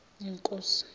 yinkosi